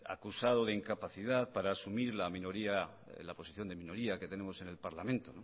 acusado de incapacidad para asumir la posición de minoría que tenemos en el parlamento